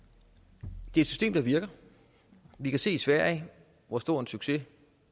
det er et system der virker vi kan se i sverige hvor stor en succes